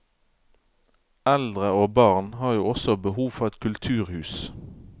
Eldre og barn har jo også behov for et kulturhus.